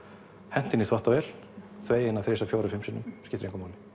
hent henni í þvottavél og þvegið hana þrisvar fjórum fimm sinnum skiptir engu máli